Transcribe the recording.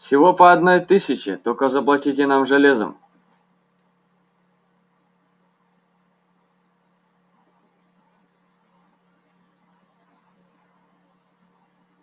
всего по одной тысяче только заплатите нам железом